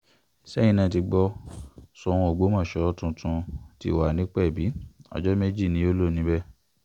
ṣẹ́yìn náà ti gbọ́ sóun ọgbọ́mọṣẹ́ tuntun ti wà nípẹ̀bì ọjọ́ méje ni yóò lò níbẹ̀